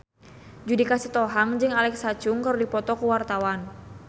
Judika Sitohang jeung Alexa Chung keur dipoto ku wartawan